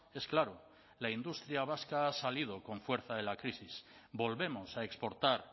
es claro la industria vasca ha salido con fuerza de la crisis volvemos a exportar